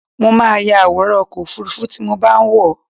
Mo máa ya àwòrán ọkọ̀-òfurufú tí mo bá wọ̀.